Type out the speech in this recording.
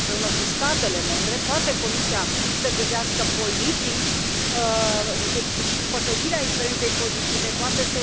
Trebuie să colaboreze cu statele membre. Comisia poate să gândească politici și să împărtășească experiențe pozitive, poate să